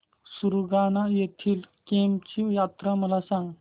सुरगाणा येथील केम्ब ची यात्रा मला सांग